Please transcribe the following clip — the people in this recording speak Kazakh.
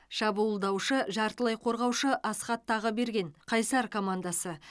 шабуылдаушы жартылай қорғаушы асхат тағыберген қайсар командасы